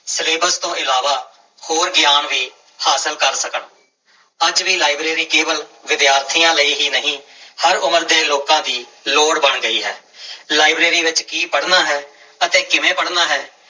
Syllabus ਤੋਂ ਇਲਾਵਾ ਹੋਰ ਗਿਆਨ ਵੀ ਹਾਸਲ ਕਰ ਸਕਣ, ਅੱਜ ਵੀ ਲਾਇਬ੍ਰੇਰੀ ਕੇਵਲ ਵਿਦਿਆਰਥੀਆਂ ਲਈ ਹੀ ਨਹੀਂ ਹਰ ਉਮਰ ਦੇ ਲੋਕਾਂ ਦੀ ਲੋੜ ਬਣ ਗਈ ਹੈ ਲਾਇਬ੍ਰੇਰੀ ਵਿੱਚ ਕੀ ਪੜ੍ਹਨਾ ਹੈ ਅਤੇ ਕਿਵੇਂ ਪੜ੍ਹਨਾ ਹੈ।